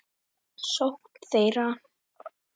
sókn þeirra?